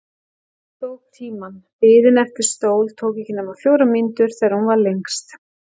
Hann tók tímann: biðin eftir stól tók ekki nema fjórar mínútur þegar hún var lengst.